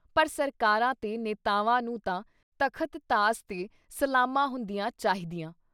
ਪਰ ਸਰਕਾਰਾਂ ਤੇ ਨੇਤਾਵਾਂ ਨੂੰ ਤਾਂ ਤਖ਼ਤ-ਤਾਜ਼ ’ਤੇ ਸਲਾਮਾਂ ਹੁੰਦੀਆਂ ਚਾਹੀਦੀਆਂ।